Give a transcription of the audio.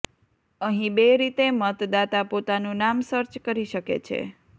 અહીં બે રીતે મતદાતા પોતાનું નામ સર્ચ કરી શકે છે